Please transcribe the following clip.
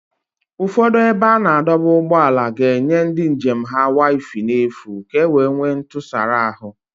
Ụfọdụ ebe a na-adọba ụgbọala ga-enye ndị njem ha wifi n'efu ka ọ wee nwee ntụsara ahụ